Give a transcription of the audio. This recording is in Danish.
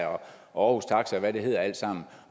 og hvad det hedder alt sammen